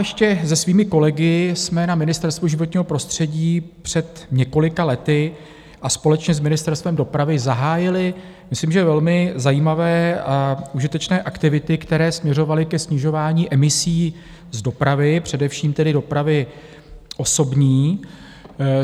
Ještě se svými kolegy jsme na Ministerstvu životního prostředí před několika lety a společně s Ministerstvem dopravy zahájili myslím, že velmi zajímavé a užitečné aktivity, které směřovaly ke snižování emisí z dopravy, především tedy dopravy osobní.